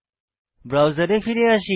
ব্রাউজারে ফিরে আসি